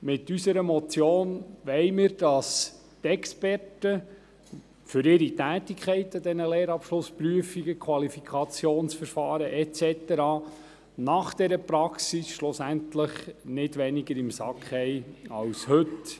Mit unserer Motion wollen wir, dass die Experten für ihre Tätigkeiten im Rahmen von Lehrabschlussprüfungen, Qualifikationsverfahren und so weiter nach dieser Praxis schlussendlich nicht weniger im Sack haben als heute.